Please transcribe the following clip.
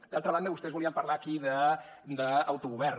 d’altra banda vostès volien parlar aquí d’autogovern